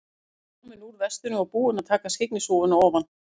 Hann var kominn úr vestinu og búinn að taka skyggnishúfuna ofan.